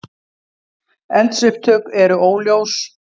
Eldsupptök eru óljós